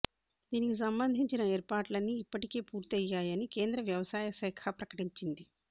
దీనికి సంబంధించిన ఏర్పాట్లన్నీ ఇప్పటికే పూర్తయ్యాయని కేంద్ర వ్యవసాయ శాఖ ప్రకటించింది